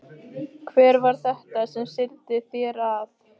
Hver var þetta sem seldi þér það?